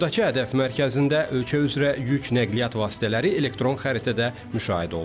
Buradakı Hədəf mərkəzində ölkə üzrə yük nəqliyyat vasitələri elektron xəritədə müşahidə olunur.